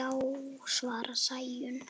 Já, svarar Sæunn.